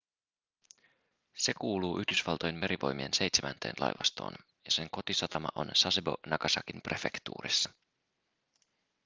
se kuuluu yhdysvaltojen merivoimien seitsemänteen laivastoon ja sen kotisatama on sasebo nagasakin prefektuurissa